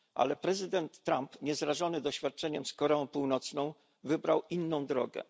Ale prezydent Trump, niezrażony doświadczeniem z Koreą Północną, wybrał inną drogę.